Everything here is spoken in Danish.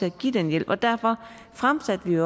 at give den hjælp og derfor fremsatte vi